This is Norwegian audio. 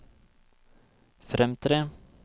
fremtre